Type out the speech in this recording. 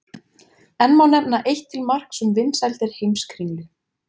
Enn má nefna eitt til marks um vinsældir Heimskringlu.